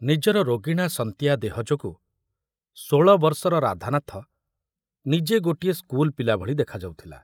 ନିଜର ରୋଗିଣା ସନ୍ତିଆ ଦେହ ଯୋଗୁ ଷୋଳବର୍ଷର ରାଧାନାଥ ନିଜେ ଗୋଟିଏ ସ୍କୁଲ ପିଲା ଭଳି ଦେଖାଯାଉଥିଲା।